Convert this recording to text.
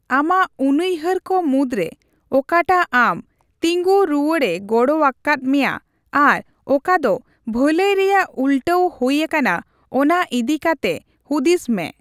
ᱟᱢᱟᱜ ᱩᱱᱩᱭᱦᱟᱹᱨ ᱠᱚ ᱢᱩᱫᱽ ᱨᱮ ᱚᱠᱟᱴᱟᱜ ᱟᱢ ᱛᱤᱸᱜᱩ ᱨᱩᱣᱟᱹᱲᱮ ᱜᱚᱲᱚ ᱟᱠᱣᱟᱫ ᱢᱮᱭᱟ ᱟᱨ ᱚᱠᱟ ᱫᱚ ᱵᱷᱟᱹᱞᱟᱹᱭ ᱨᱮᱭᱟᱜ ᱩᱞᱴᱟᱹᱣ ᱦᱩᱭ ᱟᱠᱟᱱᱟ ᱚᱱᱟ ᱤᱫᱤ ᱠᱟᱛᱮ ᱦᱩᱫᱤᱥ ᱢᱮ ᱾